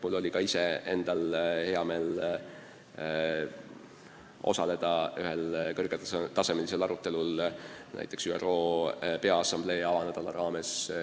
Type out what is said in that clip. Mul oli ka endal hea meel osaleda New Yorgis ühel kõrgetasemelisel arutelul ÜRO Peaassamblee avanädala raames.